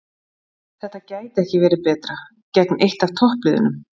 Þetta gæti ekki verið betra, gegn eitt af toppliðunum